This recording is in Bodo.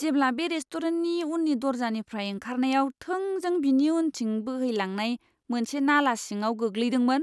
जेब्ला बे रेस्टुरेन्टनि उननि दर्जानिफ्राय ओंखारनायाव थोंजों बिनि उनथिं बोहैलांनाय मोनसे नाला सिङाव गैग्लैदोंमोन,